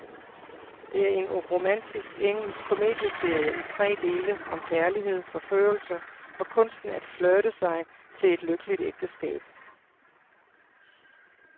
Det er en romantisk engelsk komedieserie i tre dele om kærlighed, forførelse og kunsten at flirte sig til et lykkeligt ægteskab.